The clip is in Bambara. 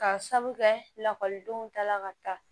K'a sabu kɛ lakɔlidenw ta la ka taa